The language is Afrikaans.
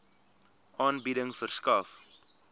aanbieding verskaf